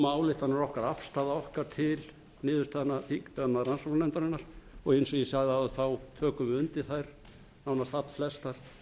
ályktanir okkar og afstaða okkar til niðurstaðna rannsóknarnefndarinnar og eins og ég sagði áðan þá tökum við undir þær nánast allflestar